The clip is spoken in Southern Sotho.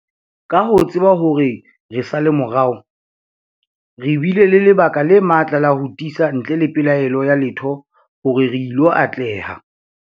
Ka ho tseba hore re sa le morao, re bile le lebaka le matla la ho tiisa ntle le pelaelo ya letho hore re ilo atleha.